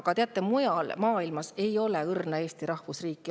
Aga teate, mujal maailmas ei ole õrna Eesti rahvusriiki.